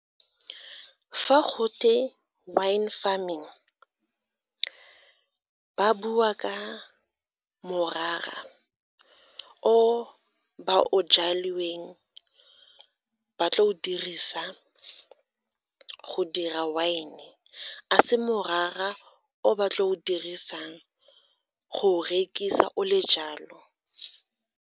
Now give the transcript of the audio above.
Fa go twe wine farming, ba bua ka morara o ba o ba tla o dirisa go dira wine, a se morara o ba tlo o dirisang go o rekisa o le jalo.